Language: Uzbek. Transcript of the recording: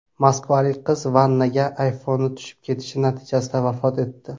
Moskvalik qiz vannaga iPhone tushib ketishi natijasida vafot etdi.